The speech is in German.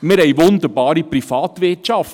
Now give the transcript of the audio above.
Wir haben eine wunderbare Privatwirtschaft;